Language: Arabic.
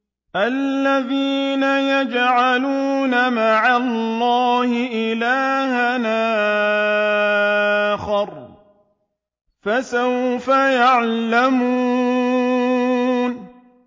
الَّذِينَ يَجْعَلُونَ مَعَ اللَّهِ إِلَٰهًا آخَرَ ۚ فَسَوْفَ يَعْلَمُونَ